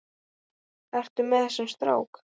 Ertu með þessum strák?